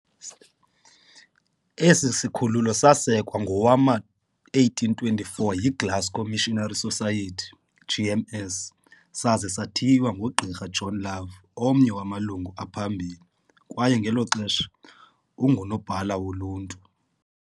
Esi sikhululo sasekwa ngowama-1824 yiGlasgow Missionary Society GMS saza sathiywa ngoGqr John Love, omnye wamalungu aphambili, kwaye ngelo xesha ungunobhala woluntu.